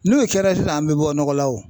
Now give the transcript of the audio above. N'o kɛra sisan an bɛ bɔ nɔgɔ la o.